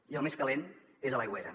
i el més calent és a l’aigüera